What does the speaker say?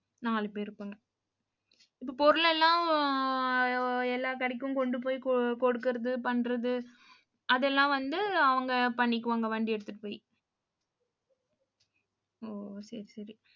நாலு பேர் இருப்பாங்க. இப்ப பொருள் எல்லாம், எல்லா கடைக்கும் கொண்டு போய் கொ~ கொடுக்குறது பண்றது அதெல்லாம் வந்து அவங்க பண்ணிக்குவாங்க வண்டி எடுத்துட்டு போயி. ஓ சரி சரி